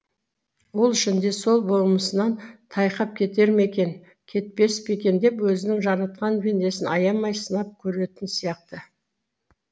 ол үшін де сол болмысынан тайқап кетер ме екен кетпес пе екен деп өзінің жаратқан пендесін аямай сынап көретін сияқты